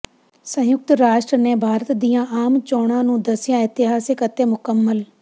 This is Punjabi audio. ਸੰਯੁਕਤ ਰਾਸ਼ਟਰ ਨੇ ਭਾਰਤ ਦੀਆਂ ਆਮ ਚੋਣਾਂ ਨੂੰ ਦਸਿਆ ਇਤਿਹਾਸਿਕ ਅਤੇ ਮੁਕੰਮਲ